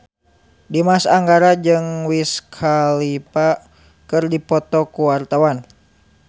Dimas Anggara jeung Wiz Khalifa keur dipoto ku wartawan